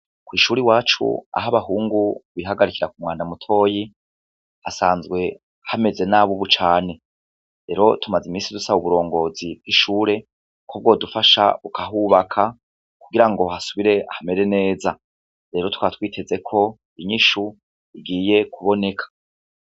Kw'ishuri iwacu aho abahungu bihagarikira ku mwanda mutoyi hasanzwe hameze nabi, ubu cane rero tumaze imisi dusaba uburongozi bw'ishure ko bwodufasha bukahubaka kugira ngo hasubire hamere neza, rero tukaba twiteze ko inyishu igiye kuboneka.